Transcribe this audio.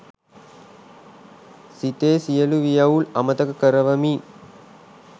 සිතේ සියලු වියවුල් අමතක කරවමින්